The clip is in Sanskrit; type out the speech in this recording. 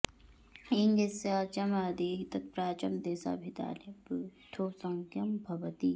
एङ् यस्य अचाम् आदिः तत् प्राचां देशाभिधाने वृद्धसंज्ञं भवति